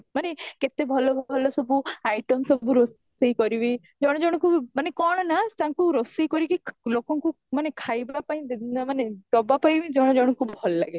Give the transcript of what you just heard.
ମାନେ କେତେ ଭଲ ଭଲ ସବୁ iteam ସବୁ ରୋଷେଇ କରିବି ଜଣ ଜଣଙ୍କୁ ବି ମାନେ କଣ ନା ତାଙ୍କୁ ରୋଷେଇ କରିକି ଲୋକଙ୍କୁ ମାନେ ଖାଇବା ପାଇଁ ମାନେ ଦବା ପାଇଁ ବି ଜଣ ଜଣଙ୍କୁ ମାନେ ଭଲ ଲାଗେ